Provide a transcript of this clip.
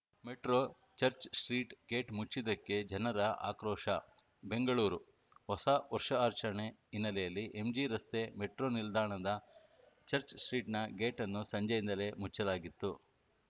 metro Church Street gate ಮುಚ್ಚಿದ್ದಕ್ಕೆ ಜನರ ಆಕ್ರೋಶ ಬೆಂಗಳೂರು ಹೊಸ ವರ್ಷಾಚರಣೆ ಹಿನ್ನೆಲೆಯಲ್ಲಿ ಎಂಜಿರಸ್ತೆ ಮೆಟ್ರೋ ನಿಲ್ದಾಣದ ಚಚ್‌ಸ್ಟ್ರೀಟ್‌ನ ಗೇಟ್‌ಅನ್ನು ಸಂಜೆಯಿಂದಲೇ ಮುಚ್ಚಲಾಗಿತ್ತು